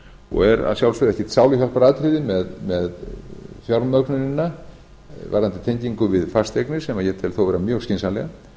og er að sjálfsögðu ekkert sáluhjálparatriði með fjármögnunina varðandi tengingu við fasteignir sem ég tel þó vera mjög skynsamlega